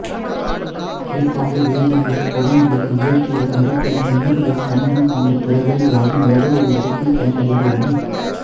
குறிப்பாக வேதியியல் பொறியியல் இயற்பியல் மருத்துவம் உயிரியல் கணிதம் போன்ற துறைகள் யாவும் ஏதோ ஒரு விதத்தில் பயனடைந்துள்ளன